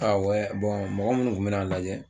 mɔgɔ minnu tun bɛ na n lajɛ